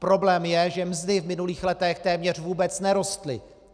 Problém je, že mzdy v minulých letech téměř vůbec nerostly.